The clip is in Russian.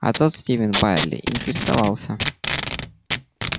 а тот стивен байерли интересовался